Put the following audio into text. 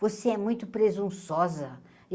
Você é muito presunçosa.